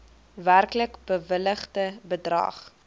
werklik bewilligde bedrag